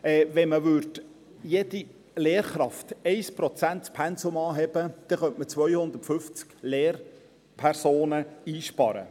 Wenn man bei jeder Lehrkraft das Pensum um 1 Prozent anhöbe, könnte man 250 Lehrpersonen einsparen.